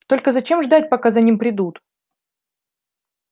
только зачем ждать пока за ним придут